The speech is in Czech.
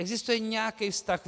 Existuje nějaký vztah?